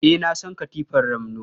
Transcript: Eh, na san katifar ramno.